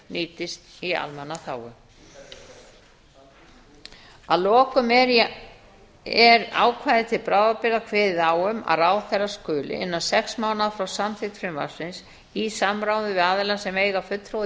nýtist í almannaþágu að lokum er í ákvæði til bráðabirgða kveðið á um að ráðherra skuli innan sex mánaða frá samþykkt frumvarpsins í samráði við aðila sem eiga fulltrúa í